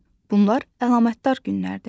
Bunlar əlamətdar günlərdir.